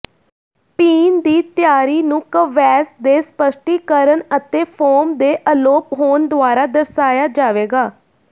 ਪੀਣ ਦੀ ਤਿਆਰੀ ਨੂੰ ਕਵੈਸ ਦੇ ਸਪਸ਼ਟੀਕਰਨ ਅਤੇ ਫੋਮ ਦੇ ਅਲੋਪ ਹੋਣ ਦੁਆਰਾ ਦਰਸਾਇਆ ਜਾਵੇਗਾ